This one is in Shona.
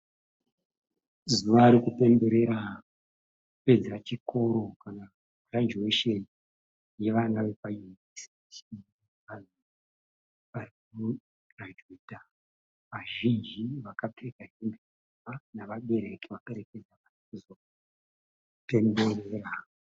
Zuva rekupemberera kupedza chikoro kana kuti girajuwesheni yevana vepayunivhesiti varikugirajuweta vazhinji vakapfeka hembe nhema nevabereki vaperekedza vana kuzopemberera.